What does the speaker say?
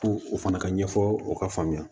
Ko o fana ka ɲɛfɔ u ka faamuya